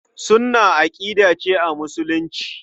Sunnah aƙida ce a Musulunci.